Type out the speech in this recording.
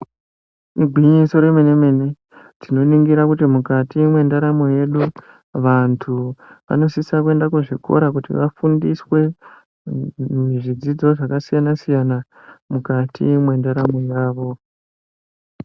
Igwinyiso remene mene tinoningira kuti mukati mwendaramo yedu vantu vanosisa kuenda kuzvikora kuti vafundiswe zvidzidzo zvakasiyana siyana mukati mwendaramo yavo.